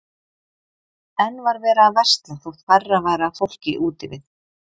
Enn var verið að versla þótt færra væri af fólki úti við.